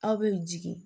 Aw bɛ jigin